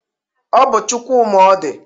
Ọ bụ Chukwuma Odị